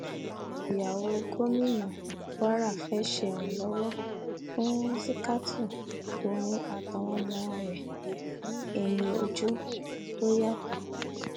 ìyàwó gómìnà kwara fẹẹ ṣèrànlọwọ fún rìsítákù tòun àtàwọn ọmọ rẹ ní ẹyìn ojú tó yàtọ